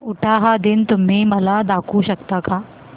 उटाहा दिन तुम्ही मला दाखवू शकता का